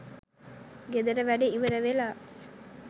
ගෙදර වැඩ ඉවර වෙලා